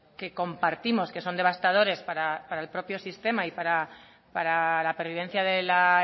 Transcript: que compartimos que son devastadores para el propio sistema y para la pervivencia de la